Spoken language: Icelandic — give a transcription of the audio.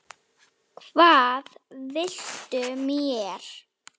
Hvað viltu mér?